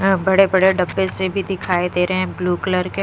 एैं बड़े बड़े डब्बे से भी दिखाई दे रहे हैं ब्लू कलर के--